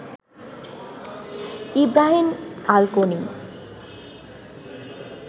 Ibrahim Al Koni